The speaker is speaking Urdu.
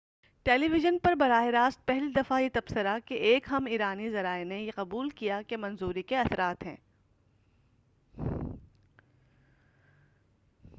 ٹیلی وژن پر براہ راست پہلی دفعہ یہ تبصرہ کہ ایک اہم ایرانی ذرائع نے یہ قبول کیا کہ منظوری کے اثرات ہیں